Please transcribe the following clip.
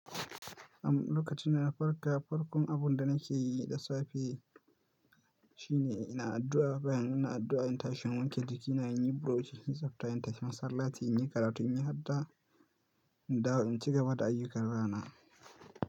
A lokacin da n na farka, farkon abun da nake yi da safe shine ina addu'a. Bayan ina addu'a, in tashin wanke jiki, ina yin bu rosh, in tsafta, in tashi masallaci, in yi karatu, in yi addu'a, in dawo in ci gaba da ayyukan rana.